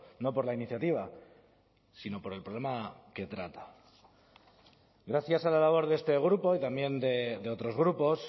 no por la iniciativa si no por el problema que trata gracias a la labor de este grupo y también de otros grupos